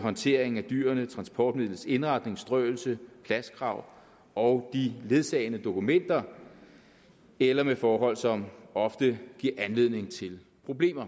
håndtering af dyrene transportmidlets indretning strøelse pladskrav og de ledsagende dokumenter eller mod forhold som ofte giver anledning til problemer